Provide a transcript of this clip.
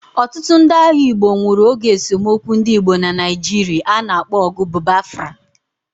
Otutu ndi agha Igbo nwuru oge esomokwu ndi Igbo na Naijiri ana akpo ogu bBafra